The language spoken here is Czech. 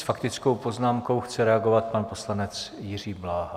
S faktickou poznámkou chce reagovat pan poslanec Jiří Bláha.